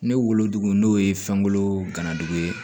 Ne wolodugu n'o ye fɛnko ganadugu ye